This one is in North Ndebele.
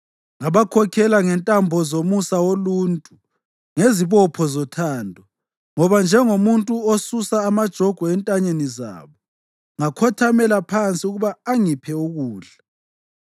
Ngabakhokhela ngentambo zomusa woluntu, ngezibopho zothando; ngaba njengomuntu osusa amajogwe entanyeni zabo, ngakhothamela phansi ukuba angiphe ukudla.